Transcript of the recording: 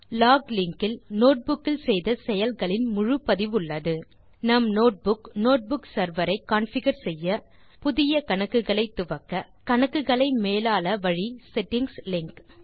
lock link இல் notebook இல் செய்த செயல்களின் முழு பதிவுள்ளது நம் நோட்புக் நோட்புக் செர்வர் ஐ கான்ஃபிகர் செய்ய புதிய கணக்குகளை துவக்க கணக்குகளை மேலாள வழி செட்டிங்ஸ் லிங்க்